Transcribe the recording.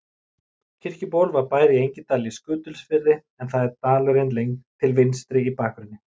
Kirkjuból var bær í Engidal í Skutulsfirði en það er dalurinn til vinstri í bakgrunni.